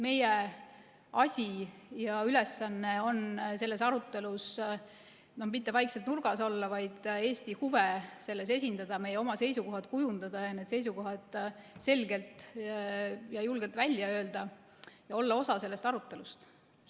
Meie asi ja ülesanne on selles arutelus mitte vaikselt nurgas olla, vaid Eesti huve selles esindada, oma seisukohad kujundada, need selgelt ja julgelt välja öelda ning olla osa sellest arutelust.